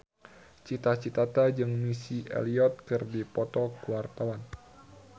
Cita Citata jeung Missy Elliott keur dipoto ku wartawan